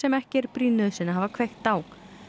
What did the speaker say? ekki er brýn nauðsyn að hafa kveikt á